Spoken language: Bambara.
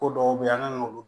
Ko dɔw bɛ yen an kan k'olu